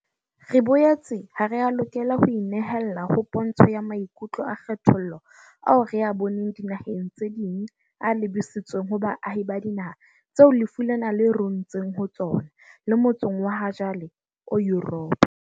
Re boetse ha re a lokela ho inehella ho pontsho ya maikutlo a kgethollo ao re a boneng dinaheng tse ding a lebisitsweng ho baahi ba dinaha tseo lefu lena le runtseng ho tsona le motsong wa hajwale o Yuropa.